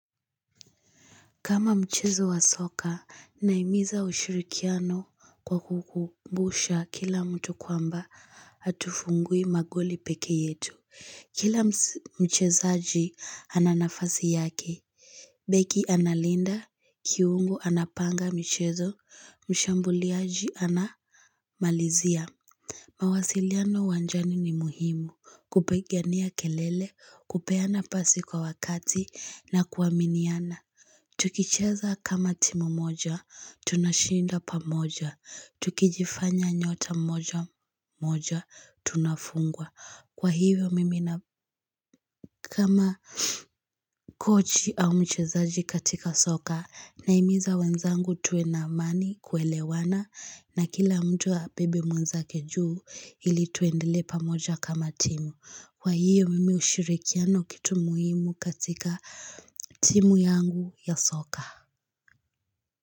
Kama mchezo wa soka, nahimiza ushirikiano kwa kukubusha kila mtu kwamba hatufungui magoli peke yetu. Kila mchezaji ananafasi yake, beki analinda, kiungo anapanga michezo, mshambuliaji anamalizia. Mawasiliano uwanjani ni muhimu, kupigania kelele, kupeana pasi kwa wakati na kuaminiana. Tukicheza kama timu moja, tunashinda pamoja, tukijifanya nyota moja moja, tunafungwa. Kwa hivyo mimi na kama kochi au mchezaji katika soka, nahimiza wenzangu tuwe na amani kuelewana na kila mtu abebe mwenzake juu ili tuendele pamoja kama timu. Kwa hivyo mimi ushirikiano kitu muhimu katika timu yangu ya soka.